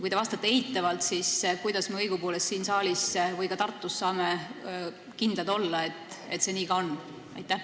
Kui te vastate eitavalt, siis kuidas me õigupoolest siin saalis või ka Tartus saame kindlad olla, et see nii ka on?